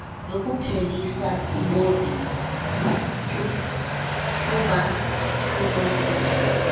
yokuphelisa ibovine tuberculosis